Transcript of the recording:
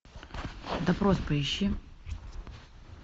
допрос поищи